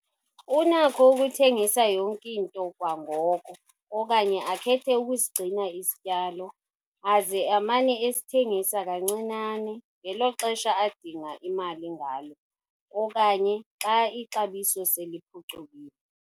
Unakho ukuthengisa yonke into kwangoko okanye akhethe ukusigcina isityalo aze amane esithengisa kancinane ngelo xesha adinga imali ngalo - okanye xa ixabiso seliphucukile.